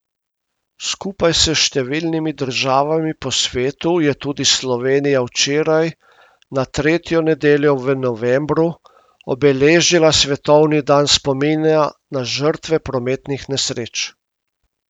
Skupaj s številnimi državami po svetu je tudi Slovenija včeraj, na tretjo nedeljo v novembru, obeležila svetovni dan spomina na žrtve prometnih nesreč.